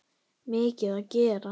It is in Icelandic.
Mikið að gera?